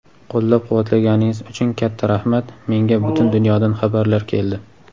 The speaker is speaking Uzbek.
Qo‘llab-quvvatlaganingiz uchun katta rahmat - menga butun dunyodan xabarlar keldi.